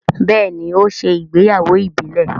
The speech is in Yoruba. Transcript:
béèni o ṣe ìgbéyàwó ìbílè..